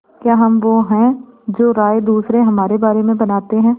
क्या हम वो हैं जो राय दूसरे हमारे बारे में बनाते हैं